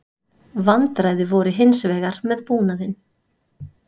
Vandræði voru hins vegar með búnaðinn